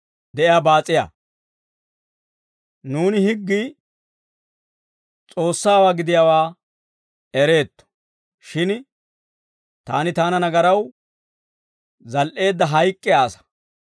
Nuuni higgii S'oossawaa gidiyaawaa ereetto; shin taani taana nagaraw zal"eedda hayk'k'iyaa asaa;